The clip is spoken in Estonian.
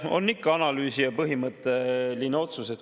See on ikka analüüsile põhimõtteline otsus.